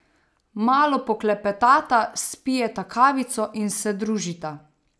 Malo poklepetata, spijeta kavico in se družita.